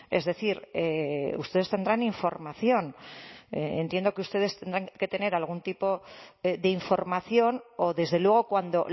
es decir ustedes tendrán información entiendo que ustedes tendrán que tener algún tipo de información o desde luego cuando